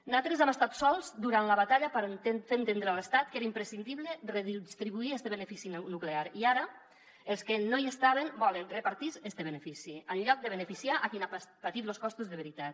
natros hem estat sols durant la batalla per fer entendre a l’estat que era imprescindible redistribuir este benefici nuclear i ara els que no hi estaven volen repartir se este benefici en lloc de beneficiar a qui n’ha patit los costos de veritat